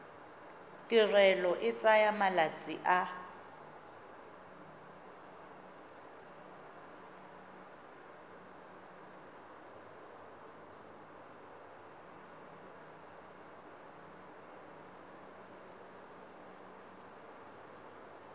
tirelo e tsaya malatsi a